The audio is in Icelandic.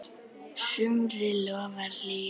sumri lofar hlýju.